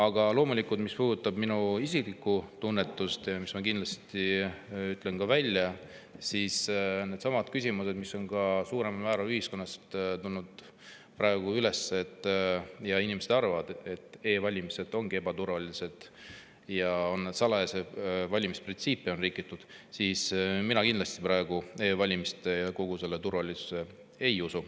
Aga loomulikult, mis puudutab minu isiklikku tunnetust, mille ma kindlasti ka välja ütlen, siis mõeldes nendele küsimustele, mis on suuremal määral ühiskonnas praegu üles tulnud, ja sellele, et inimesed arvavad, et e‑valimised ongi ebaturvalised ja valimiste salajasuse printsiipi on rikutud, siis mina kindlasti praegu e‑valimistesse ja nende turvalisusse ei usu.